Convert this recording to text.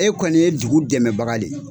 E kɔni ye dugu dɛmɛbaga le ye.